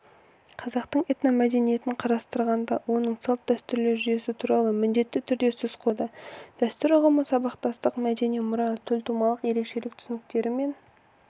қазақтың этномәдениетін қарастырғанда оның салт-дәстүрлер жүйесі туралы міндетті түрде сөз қозғалады дәстүр ұғымы сабақтастық мәдени мұра төлтумалық ерекшелік түсініктерімен